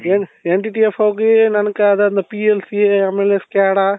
N NTTF ಹೋಗಿ ನoಗೆ ಅದಾದ್ಮೇಲೆ PLCA ಆಮೇಲೆ SCADA